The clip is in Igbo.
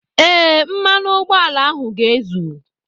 ee, mmanụ ụgbọala ahụ ga-ezu